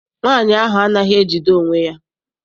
Nwaanyi ahụ anaghị ejide onwe ya.